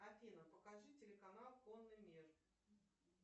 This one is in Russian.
афина покажи телеканал конный мир